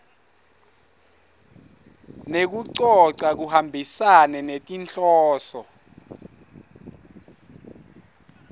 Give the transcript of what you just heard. nekucoca kuhambisane netinhloso